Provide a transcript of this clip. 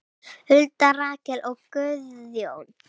Hulda, Rakel og Guðjón.